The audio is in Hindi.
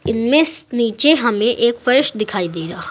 इनमें से नीचे हमें एक फर्श दिखाई दे रहा--